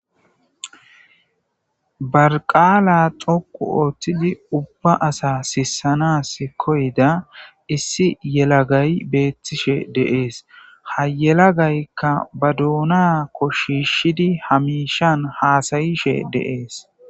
Barqaala xoqu ooththidi ubba asa sissanas koyda issi yelagay beettishe deees hayelagaykka ba duuna koshishidi hamishan haasayishe deees.